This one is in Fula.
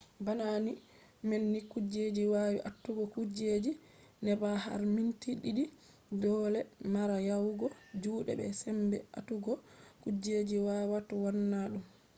bana ni man ni kuje wawi atugo kujeji neɓa har minti ɗiɗi dole mara yawugo juɗe be sembe atugo kujeji wawata wonna ɗum